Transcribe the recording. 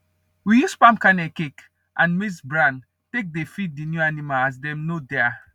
we use palm kernel cake and and maize bran take dey feed the new animl as dem nor dare